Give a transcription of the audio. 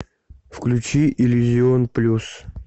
включи иллюзион плюс